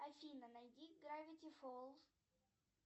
афина найди гравити фолс